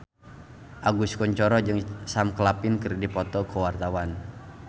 Agus Kuncoro jeung Sam Claflin keur dipoto ku wartawan